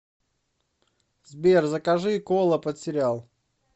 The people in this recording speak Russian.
сбер закажи кола под сериал